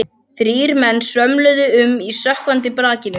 Þrír menn svömluðu um í sökkvandi brakinu.